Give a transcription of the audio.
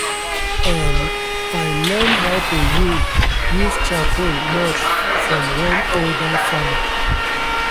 um i len how to use use charcoal mulch from one older farmer